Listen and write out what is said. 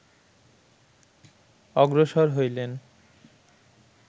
অগ্রসর হইলেন